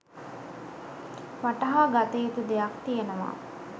වටහා ගත යුතු දෙයක් තියෙනවා.